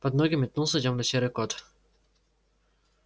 под ноги метнулся тёмно-серый кот